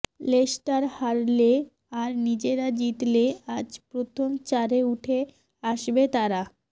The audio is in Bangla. লেস্টার হারলে আর নিজেরা জিতলে আজ প্রথম চারে উঠে আসবে তারা